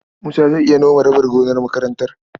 Musa zai iya nome rabin gonar makaranta.